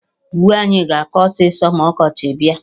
Uwe anyị ga-akọ ọsịsọ ma ọkọchị bịa